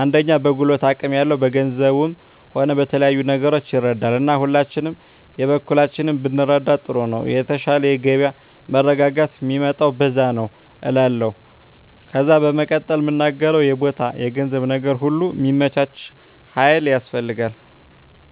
አንደኛ በጉልበት አቅም ያለው በገንዘቡም ሆነ በተለያዩ ነገሮች ይረዳል እና ሁላችንም የበኩላችንን ብንረዳዳ ጥሩ ነው የተሻለ የገበያ መረጋጋት ሚመጣው በዛ ነዉ እላለሁ ከዜ በመቀጠል ምናገረው የቦታ የገንዘብ ነገር ሁሉ ሚመቻች ሀይል ያስፈልጋል